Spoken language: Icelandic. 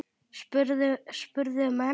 spurðu menn.